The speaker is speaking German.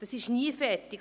Das ist nie fertig.